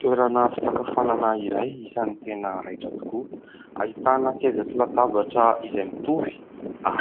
Toerana fisakafoana iray, isan'ny tena raitra tokoa; ahitana seza sy latabatra izay mitovy,